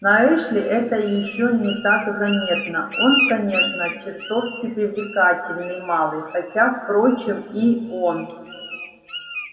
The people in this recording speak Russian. на эшли это ещё не так заметно он конечно чертовски привлекательный малый хотя впрочем и он